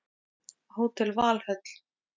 Hótel Valhöll